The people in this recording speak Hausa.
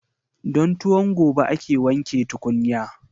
Don tuwon gobe ake wanke tukunya.